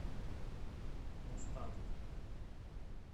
мустанг